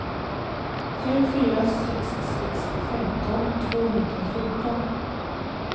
fem fyra sex sex femton tvåhundrafjorton